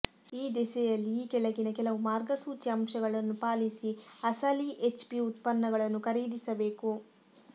ಈ ದಿಸೆಯಲ್ಲಿ ಈ ಕೆಳಗಿನ ಕೆಲವು ಮಾರ್ಗಸೂಚಿ ಅಂಶಗಳನ್ನು ಪಾಲಿಸಿ ಅಸಲಿ ಎಚ್ಪಿ ಉತ್ಪನ್ನಗಳನ್ನು ಖರೀದಿಸಬೇಕು